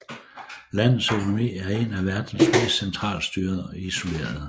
Landets økonomi er en af verdens mest centralstyrede og isolerede